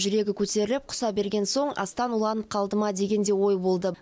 жүрегі көтеріліп құса берген соң астан уланып қалды ма деген де ой болды